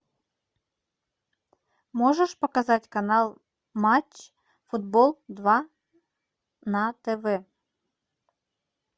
можешь показать канал матч футбол два на тв